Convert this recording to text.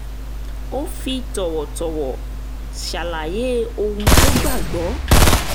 ó fi tọ̀wọ̀tọ̀wọ̀ ṣàlàyé ohun tó gbà gbọ́